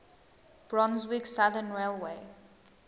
brunswick southern railway